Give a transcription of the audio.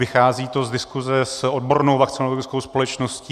Vychází to z diskuse s odbornou vakcionologickou společností.